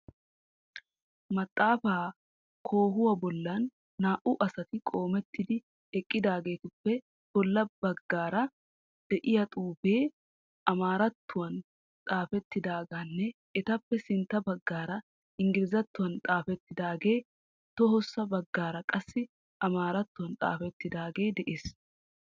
Maxaafaa koohuwa bollan naa''u asati qoomettidi eqqidaageetuppe bollaara de'iya xuufee amaarattuwan xaafettaageenne etappe sintta baggaara Ingglizattuwan xaafettaagee tohossa baggaara qassi amaarattuwan xaafettaagee de'ees.